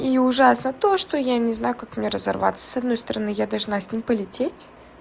и ужасно то что я не знаю как мне разорваться с одной стороны я должна с ним полететь